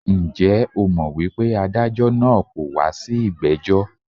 Njẹ́ o mọ̀ wípé adájọ́ naa kọ̀ wá sí ìgbẹ́jọ́?